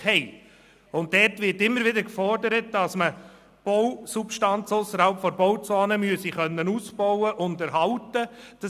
Auch dort wird immer wieder gefordert, dass man Bausubstanz ausserhalb der Bauzone ausbauen und erhalten können müsse.